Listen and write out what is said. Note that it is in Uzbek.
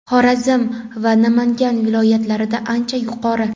Xorazm va Namangan viloyatlarida ancha yuqori.